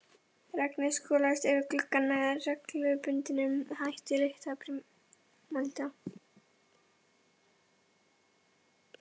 Regnið skolaðist yfir gluggann með reglubundnum hætti líkt og brimalda.